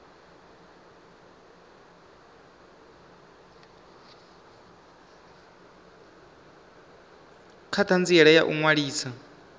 kha ṱhanziela ya u ṅwalisa